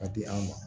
Ka di an ma